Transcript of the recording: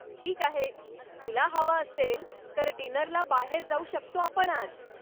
ठीक आहे, तुला हवं असेल तर डिनरला बाहेर जाऊ शकतो आपण आज.